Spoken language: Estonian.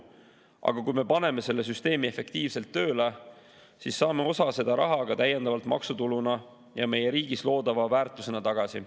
Aga kui me paneme selle süsteemi efektiivselt tööle, siis saame osa sellest rahast täiendava maksutuluna ja meie riigis loodava väärtusena tagasi.